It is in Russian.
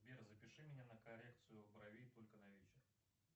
сбер запиши меня на коррекцию бровей только на вечер